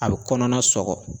A bi kɔnɔna sɔgɔ